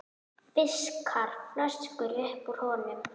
Fiskar flösku upp úr honum.